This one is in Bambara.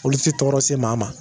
Olu ti tɔɔrɔ se maa ma